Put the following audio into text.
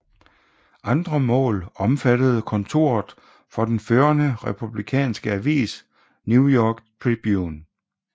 Andre mål omfattedekontoret for den førende Republikanske avis New York Tribune